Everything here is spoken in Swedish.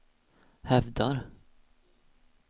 hävdar